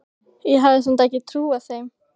Ég hafði samt ekki trúað þeim.